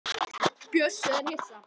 Bjössi er hissa.